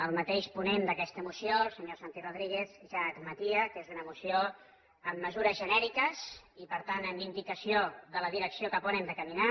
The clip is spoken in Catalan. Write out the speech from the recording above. el mateix ponent d’aquesta moció el senyor santi rodríguez ja admetia que és una moció amb mesures genèriques i per tant amb indicació de la direcció cap on hem de caminar